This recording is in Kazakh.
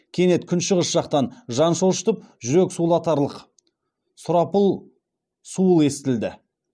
кенет күншығыс жақтан жан шошытып жүрек сулатарлық сұрапыл суыл естілді